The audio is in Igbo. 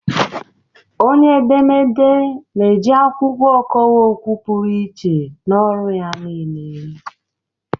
Onye edemede na-eji akwụkwọ ọkọwa okwu pụrụ iche n'ọrụ ya niile